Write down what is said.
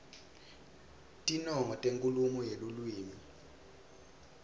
tinongo tenkhulumo yeluwimi